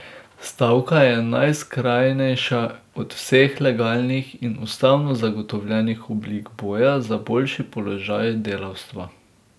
Stavka je najskrajnejša od vseh legalnih in ustavno zagotovljenih oblik boja za boljši položaj delavstva.